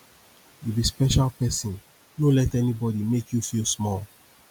you be special person no let anybody make you feel small